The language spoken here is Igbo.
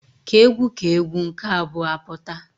K'egwu k'egwu nke abụọ apụta.